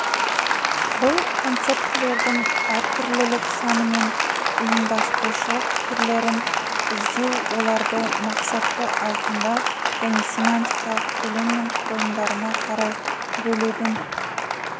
бұл концептілердің әртүрлілік саны мен ұйымдастырушылық түрлерін іздеу оларды мақсатты айқындау және семантикалық көлем мен құрылымдарына қарай бөлудің